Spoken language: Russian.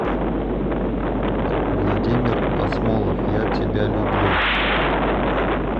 владимир асмолов я тебя люблю